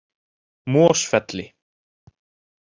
Mosfelli